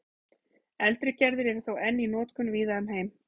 eldri gerðir eru þó enn í notkun víða um heim